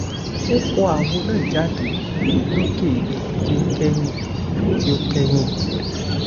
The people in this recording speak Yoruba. ó fọ àwo náà jáde lókè èyí tí ó kẹyìn tí ó kẹyìn